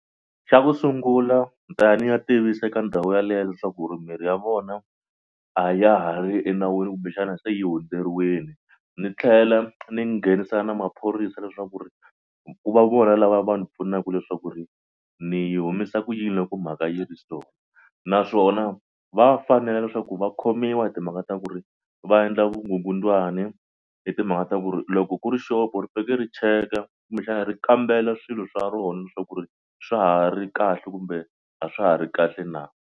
Xa ku sungula ni ta ya ni ya tivisa eka ndhawu yaleyo leswaku ri mimirhi ya vona a ya ha ri enawini kumbexana se yi hundzeriwile ni tlhela ni nghenisa na maphorisa leswaku ri ku va vona lava va ni pfunaka leswaku ri ni yi humisa ku yini loko mhaka yi ri so naswona va fanele leswaku va khomiwa hi timhaka ta ku ri va endla vukungundzwani hi timhaka ta ku ri loko ku ri xopo ri faneke ri cheka kumbexana ri kambela swilo swa rona leswaku ku ri swa ha ri kahle kumbe a swa ha ri kahle na.